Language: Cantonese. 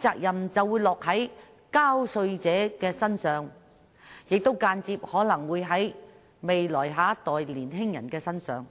責任便會落在納稅人身上，亦可能間接地落在下一代的年青人身上。